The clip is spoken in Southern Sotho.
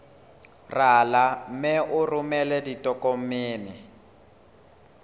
rala mme o romele ditokomene